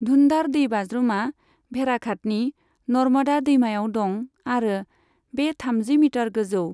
धुन्धार दैबाज्रुमा भेड़ाघाटनि नर्मदा दैमायाव दं आरो बे थामजि मिटार गोजौ।